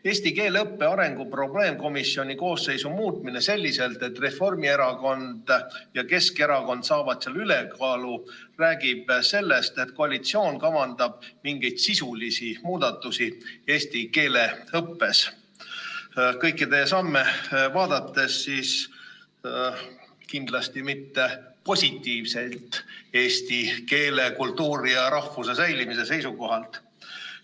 Eesti keele õppe arengu probleemkomisjoni koosseisu muutmine selliselt, et Reformierakond ja Keskerakond saavad seal ülekaalu, räägib sellest, et koalitsioon kavandab mingeid sisulisi muudatusi eesti keele õppes – kõiki teie samme vaadates kindlasti mitte positiivseid eesti keele, kultuuri ja rahvuse säilimise seisukohalt.